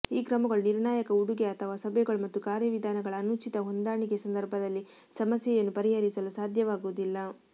ಈ ಕ್ರಮಗಳು ನಿರ್ಣಾಯಕ ಉಡುಗೆ ಅಥವಾ ಸಭೆಗಳು ಮತ್ತು ಕಾರ್ಯವಿಧಾನಗಳ ಅನುಚಿತ ಹೊಂದಾಣಿಕೆ ಸಂದರ್ಭದಲ್ಲಿ ಸಮಸ್ಯೆಯನ್ನು ಪರಿಹರಿಸಲು ಸಾಧ್ಯವಾಗುವುದಿಲ್ಲ